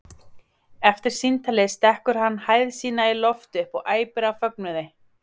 Eftir símtalið stekkur hann hæð sína í loft upp og æpir af fögnuði.